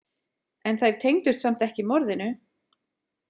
En þær tengdust samt ekki morðinu?